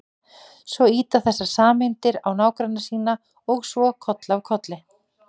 Svo ýta þessar sameindir á nágranna sína og svo koll af kolli.